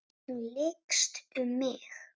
Hún lykst um mig.